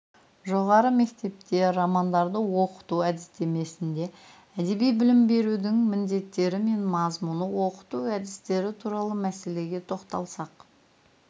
жоғары мектепте романдарды оқыту әдістемесінде әдеби білім берудің міндеттері мен мазмұны оқыту әдістері туралы мәселеге тоқталсақ